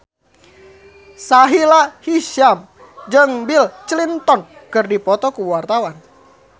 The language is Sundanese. Sahila Hisyam jeung Bill Clinton keur dipoto ku wartawan